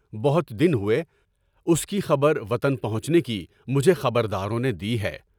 بہت دن ہوئے اس کی خبر وطن پہنچنے کی مجھے خبر داروں نے دی ہے۔